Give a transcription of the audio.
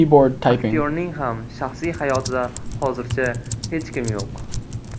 Aktyorning ham shaxsiy hayotida hozircha hech kim yo‘q.